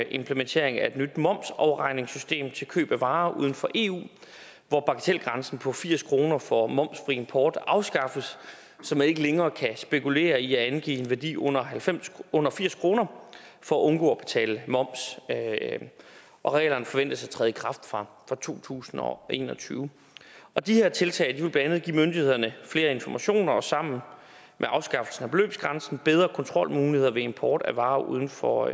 implementeringen af et nyt momsafregningssystem til køb af varer uden for eu hvor bagatelgrænsen på firs kroner for momsfri import afskaffes så man ikke længere kan spekulere i at angive en værdi under under firs kroner for at undgå at betale moms og reglerne forventes at træde i kraft fra to tusind og en og tyve de her tiltag vil blandt andet give myndighederne flere informationer og sammen med afskaffelsen af beløbsgrænsen bedre kontrolmuligheder ved import af varer uden for